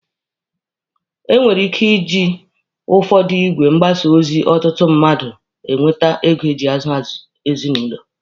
E nwekwara ike iji ụfọdụ igwe mgbasa ozi ọtụtụ mmadụ enweta ego eji azụ ezinụlọ.